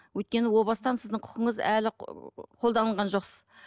өйткені о бастан сіздің құқыңыз әлі қолданылған жоқсыз